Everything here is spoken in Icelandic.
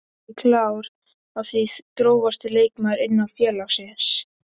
Ekki klár á því Grófasti leikmaður innan félagsins?